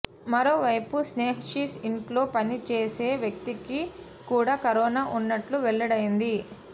మరోవైపు స్నేహశిష్ ఇంటిలో పని చేసే వ్యక్తికి కూడా కరోనా ఉన్నట్టు వెల్లడైంది